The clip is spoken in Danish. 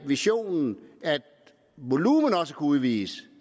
visionen at volumen også kan udvides